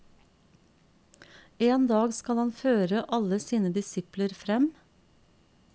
En dag skal han føre alle sine disipler frem.